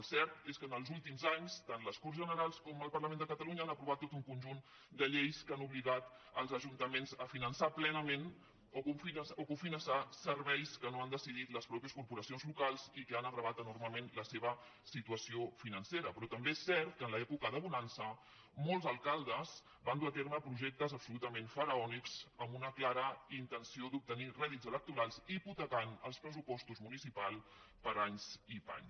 el cert és que en els últims anys tant les corts generals com el parlament de catalunya han aprovat tot un conjunt de lleis que han obligat els ajuntaments a finançar plena·ment o cofinançar serveis que no han decidit les matei·xes corporacions locals i que han agreujat enormement la seva situació financera però també és cert que en l’època de bonança molts alcaldes van dur a terme pro·jectes absolutament faraònics amb una clara intenció d’obtenir rèdits electorals hipotecant els pressupostos municipals per a anys i panys